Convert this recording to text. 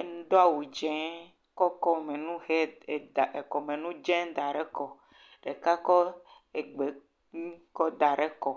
edon awu dzee, kɔ ekɔmenu he dze da ɖe kɔ, ɖeka kɔ egbenu kɔ da ɖe kɔ.